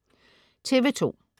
TV2: